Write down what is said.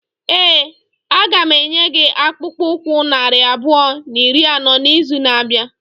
Ee, a ga m enye gị akpụkpọ ụkwụ narị abụọ na iri anọ n'izu na-abịa.